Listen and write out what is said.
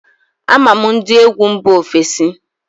Ama m ndị egwu mba ofesi